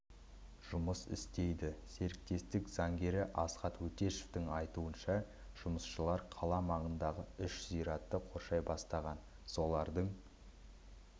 жұмыс істейді серіктестік заңгері асхат өтешовтің айтуынша жұмысшылар қала маңындағы үш зиратты қоршай бастаған солардың